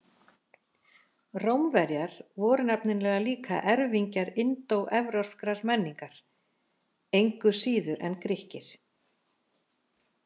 Rómverjar voru nefnilega líka erfingjar indóevrópskrar menningar, engu síður en Grikkir.